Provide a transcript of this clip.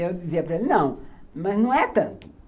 Eu dizia para ele, não, mas não é tanto.